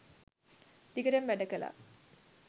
දිගටම වැඩ කළා.